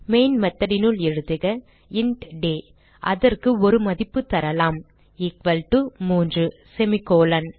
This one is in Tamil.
மெயின் method னுள் எழுதுக இன்ட் டே அதற்கு ஒரு மதிப்பு தரலாம் எக்குவல் டோ 3 semi கோலோன்